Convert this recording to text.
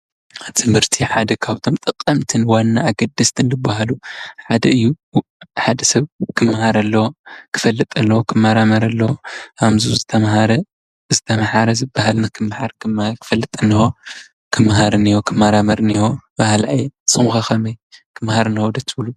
ትምህርቲ ሓደ ካብቶም ጠቐምትን ዋናን ኣገደስትን ዝበሃሉ ሓደ እዩ። ሓደ ሰብ ክመሃር ኣለዎ፣ ክፈልጥ ኣለዎ፣ ክመራመር ኣለዎ፣ ከምዚ ዝተምሃረ ዝተምሓረ ዝበሃል ንክመሓር ክመሃር ኣለዎ፣ ከመራመር ኣለዎ በሃላይ እየ። ንስኩም ከ ከመይ ከመሃር ኣለዎ ዶ ትብሉ ?